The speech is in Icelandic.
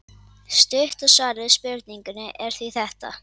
Stutta svarið við spurningunni er því þetta.